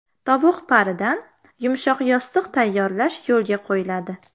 Tovuq paridan yumshoq yostiq tayyorlash yo‘lga qo‘yiladi.